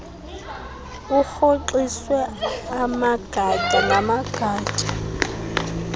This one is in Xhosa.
urhoxiswe amagatya ngamagatya